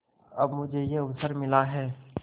अब मुझे यह अवसर मिला है